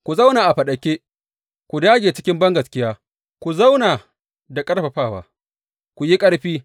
Ku zauna a faɗake; ku dāge cikin bangaskiya; ku zauna da ƙarfafawa; ku yi ƙarfi.